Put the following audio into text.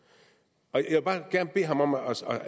rigtig jeg vil bare gerne bede ham om at